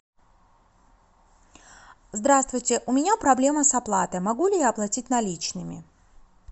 здравствуйте у меня проблема с оплатой могу ли я оплатить наличными